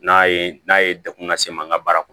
N'a ye n'a ye degun lase an ka baara kɔnɔ